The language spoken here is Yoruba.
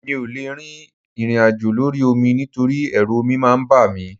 Mi ò lè rin ìrìnàjò lórí omi nítorí ẹrú omi máa ń bà mí